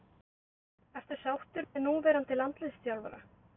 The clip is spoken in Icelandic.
Ertu sáttur með núverandi landsliðsþjálfara?